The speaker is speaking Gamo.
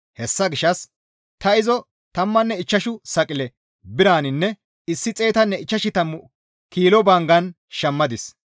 Hessa gishshas ta izo tammanne ichchashu saqile biraninne 150 kilo banggan shammadis.